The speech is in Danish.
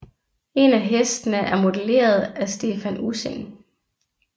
En af hestene er modelleret af Stephan Ussing